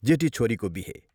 जेठी छोरीको बिहे।